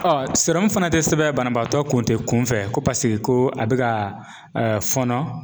sirɔmu fana tɛ sɛbɛn banabaatɔ kun tɛ kunfɛ ko paseke ko a bɛ ka fɔnɔ.